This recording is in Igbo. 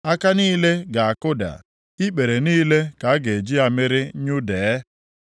Aka niile ga-akụda, ikpere niile ka a ga-eji amịrị nyụdee.